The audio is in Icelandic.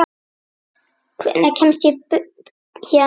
Hvenær kemst ég héðan burt?